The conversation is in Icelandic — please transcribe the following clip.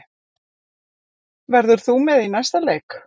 Verður þú með í næsta leik?